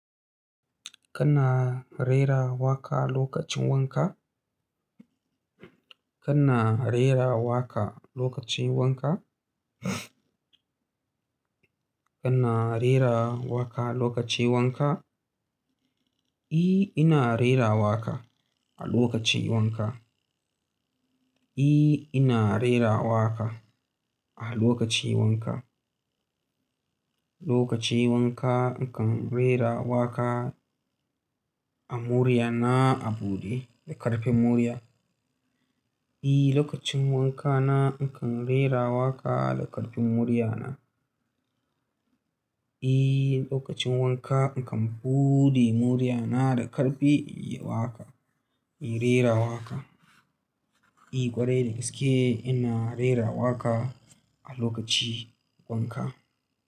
Kana rera waƙa lokacin wanka? Kana rera waƙa lokacin wanka? Kana rera waƙa lokacin wanka? I, ina rera waƙa a lokacin wanka. I, ina rera waƙa a lokacin wanka. Lokacin wanka, na kan rera waƙa a murya na, a buɗe da ƙarfin murya. Eh, lokacin wanka na, in kan rera waƙa da ƙarfin murya na. Eh, lokacin wanka, in kan buɗe murya na da ƙarfi, inyi waƙa, ina rera waƙa. Eh, ƙwarai da gaske ina rera waƙa a lokaci wanka.